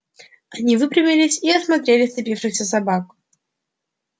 они выпрямились и осмотрели сцепившихся собак